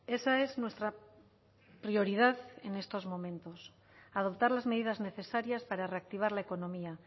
esa es nuestra prioridad en estos momentos adoptar las medidas necesarias para reactivar la economía